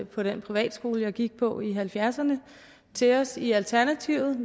på den privatskole jeg gik på i nitten halvfjerdserne til os i alternativet